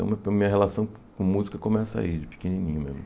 Então meu pri minha relação com música começa aí, de pequenininho mesmo.